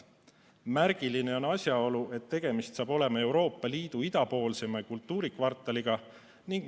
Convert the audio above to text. Märgiline on asjaolu, et tegemist saab olema Euroopa Liidu idapoolseima kultuurikvartaliga.